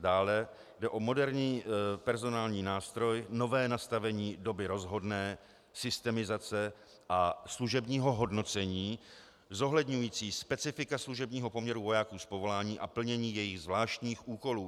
Dále jde o moderní personální nástroj nové nastavení doby rozhodné, systemizace a služebního hodnocení zohledňujícího specifika služebního poměru vojáků z povolání a plnění jejich zvláštních úkolů.